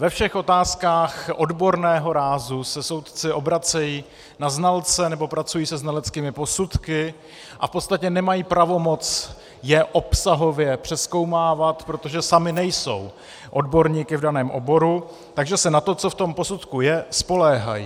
Ve všech otázkách odborného rázu se soudci obracejí na znalce nebo pracují se znaleckými posudky a v podstatě nemají pravomoc je obsahově přezkoumávat, protože sami nejsou odborníky v daném oboru, takže se na to, co v tom posudku je, spoléhají.